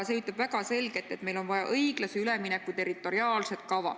See ütleb väga selgelt, et meil on vaja õiglase ülemineku territoriaalset kava.